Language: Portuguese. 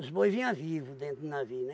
Os boi vinha vivo dentro do navio, né?